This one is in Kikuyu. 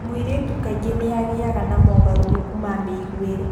Mũirĩtu kaingĩ nĩagĩaga na mogarũrũku ma mĩiguĩre